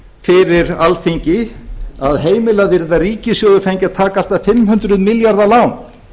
fyrir alþingi að heimilað yrði að ríkissjóður fengi að taka allt að fimm hundruð milljarða lán